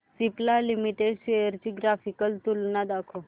Cipla limited shares ची graphical तुलना दाखव